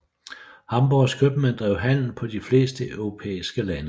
Hamborgs købmænd drev handel på de fleste europæiske lande